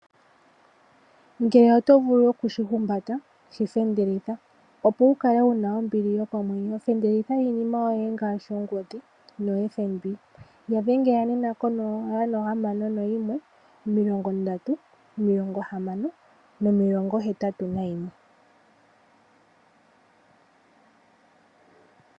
Ngele otovulu okushi humbata shifendelitha opo wu kale wuna ombili yokomwenyo. Fendelitha iinima yoye ngaashi ongodhi no FNB yadhengela nena 061306081.